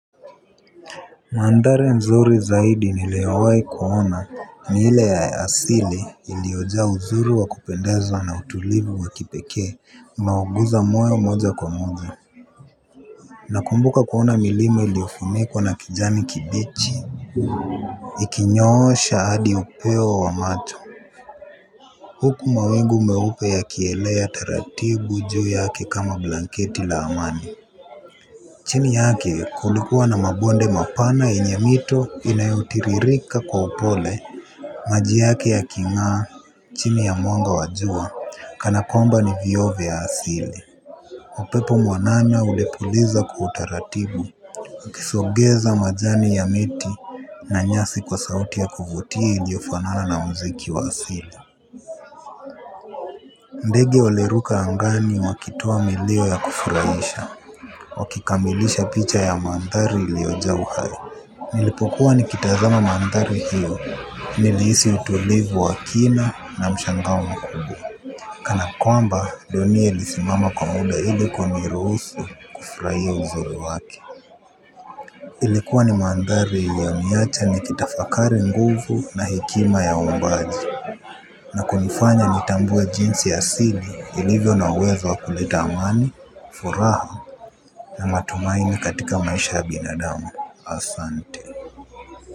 Maandhari mzuri zaidi niliyowahi kuona ni ile ya asili iliojaa uzuri wa kupendeza na utulivu wa kipekea unaoguza moyo moja kwa moja nakumbuka kuona milima iliyofunikwa na kijani kibichi ikinyoosha hadi upeo wa macho. Huku mawingu meupe yakielea taratibu juu yake kama blanketi la amani. Chini yake kulikuwa na mabonde mapana yenye mito inayotiririka kwa upole. Maji yake ya king'a chini ya mwanga wa jua kana kwamba ni vioo vya asili upepo mwanana ulipuliza kwa utaratibu. Ukisogeza majani ya miti na nyasi kwa sauti ya kuvutia iliofanana na mziki wa asili. Ndege waliruka angani wakitoa milio ya kufurahisha. Wakikamilisha picha ya mandhari iliojaa uhai nilipokuwa nikitazama mandhari hiyo nilihisi utulivu wa kina na mshangao makubwa. Kana kwamba dunia ilisimama kwa muda ili kuniruhusu kufurahia uzuri wake ilikuwa ni mandhari yaliyo niwacha nikitafakari nguvu na hekima ya uumbaji na kunifanya nitambue jinsi asili ilivyo na uwezo wa kuleta amani, furaha na matumaini katika maisha ya binadamu. Asante.